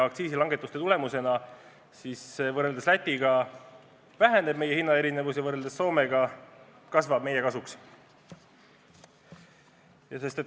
Aktsiisilangetuste tulemusena Eestis ja Lätis müüdava kauba hinna erinevus väheneb, võrreldes Soomega kasvab see meie kasuks.